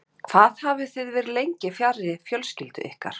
Þórhildur: Hvað hafið þið verið lengi fjarri fjölskyldu ykkar?